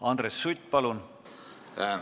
Andres Sutt, palun!